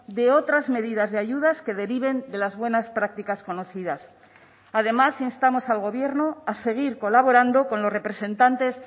de otras medidas de ayudas que deriven de las buenas prácticas conocidas además instamos al gobierno a seguir colaborando con los representantes